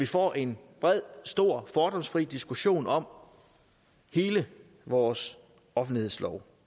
får en bred stor fordomsfri diskussion om hele vores offentlighedslov